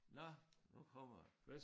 Nåh nu kommer